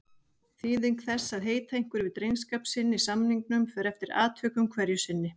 Þýðing þess að heita einhverju við drengskap sinn í samningum fer eftir atvikum hverju sinni.